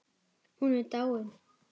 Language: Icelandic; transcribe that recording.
Hún er dáin.